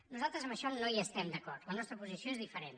nosaltres en això no hi estem d’acord la nostra posició és diferent